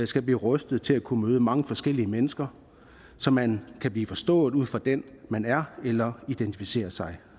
skal blive rustet til at kunne møde mange forskellige mennesker så man kan blive forstået ud fra den man er eller identificerer sig